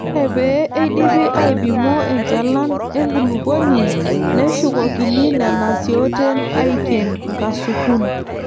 Ore pee eidipi aaipimo enchalan enkulupuoni neshukokini nena siooten aaiken nkasukun.